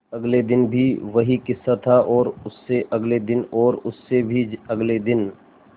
अगले दिन भी वही किस्सा था और उससे अगले दिन और उससे भी अगले दिन